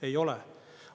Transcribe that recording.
Ei ole.